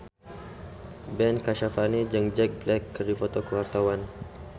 Ben Kasyafani jeung Jack Black keur dipoto ku wartawan